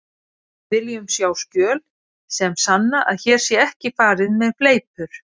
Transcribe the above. Við viljum sjá skjöl sem sanna að hér sé ekki farið með fleipur.